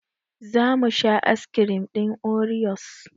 Zamu sha askirim ɗin oriyos